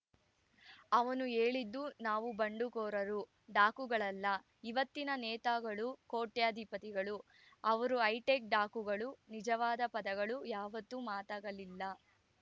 ಅವನು ಹೇಳಿದ್ದು ನಾವು ಬಂಡುಕೋರರು ಡಾಕುಗಳಲ್ಲ ಇವತ್ತಿನ ನೇತಾಗಳು ಕೋಟ್ಯಧಿಪತಿಗಳು ಅವರು ಹೈಟೆಕ್‌ ಡಾಕುಗಳು ನಿಜವಾದ ಪದಗಳು ಯಾವತ್ತೂ ಮಾತಾಗಲಿಲ್ಲ